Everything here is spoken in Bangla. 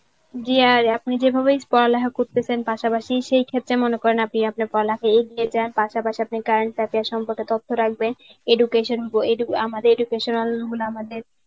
জি আর আপনি যেভাবে পড়ালেখা করতেছেন পাশাপাশি সেই ক্ষেত্রে মনে করেন আপনি আপনার পড়ালেখা এগিয়ে নিয়ে যান. পাশাপাশি আপনি current affairs সম্পর্কে তথ্য রাখবেন. education আমাদের educational গুলো আমাদের